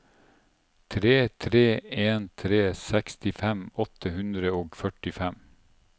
tre tre en tre sekstifem åtte hundre og førtifem